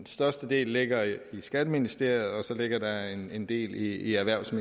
største del ligger i skatteministeriet og så ligger der en en del i erhvervs og